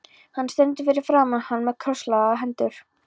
Hún stendur fyrir framan hann með krosslagðar hendur.